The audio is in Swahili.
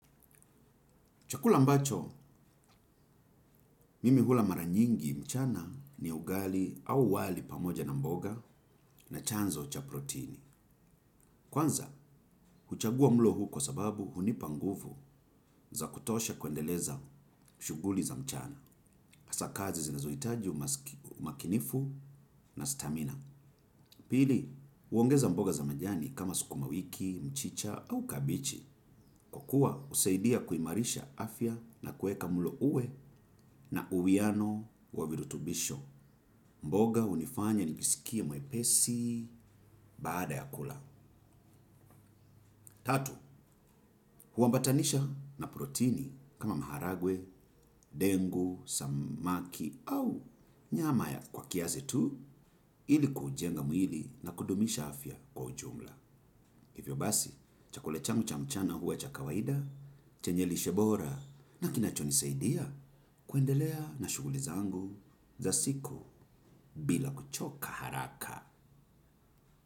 Chakula ambacho mimi hula mara nyingi mchana ni ugali au wali pamoja na mboga na chanzo cha protini. Kwanza, huchagua mlo huu kwa sababu hunipa nguvu za kutosha kuendeleza shughuli za mchana. Hasa kazi zinazohitaji umakinifu na stamina. Pili, huongeza mboga za majani kama sukuma wiki, mchicha au kabichi. Kwa kuwa husaidia kuimarisha afya na kuweka mlo uwe na uwiano wa virutubisho. Mboga hunifanya nijisikie mwepesi baada ya kula. Tatu, huambatanisha na protini kama maharagwe, dengu, samaki au nyama kwa kiasi tu ili kuujenga mwili na kudumisha afya kwa ujumla. Hivyo basi, chakula changu cha mchana huwa cha kawaida, chenye lishe bora na kinachonisaidia kuendelea na shughuli zangu za siku bila kuchoka haraka.